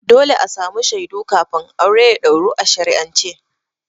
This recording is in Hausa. Dole a samu shaidu kafin aure ya ɗauru a shari'ance.